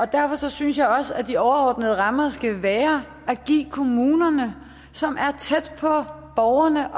derfor synes jeg også at de overordnede rammer skal være at give kommunerne som er tæt på borgerne